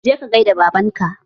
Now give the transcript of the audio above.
Je ka gaida da baban ka!